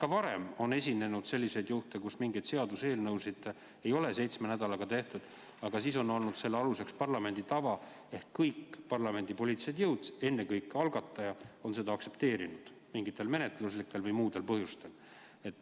Ka varem on esinenud selliseid juhtumeid, kus mingeid seaduseelnõusid ei ole seitsme nädalaga, aga siis on olnud selle aluseks parlamendi tava, et kõik parlamendi poliitilised jõud, ennekõike algataja, on seda mingitel menetluslikel või muudel põhjustel aktsepteerinud.